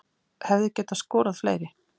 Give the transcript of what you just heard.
Hefði getað skorað fleiri